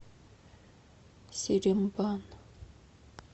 серембан